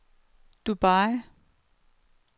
Dubai